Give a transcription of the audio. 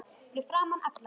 Fyrir framan alla?